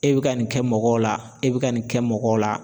E bɛ ka nin kɛ mɔgɔw la e bɛ ka nin kɛ mɔgɔw la.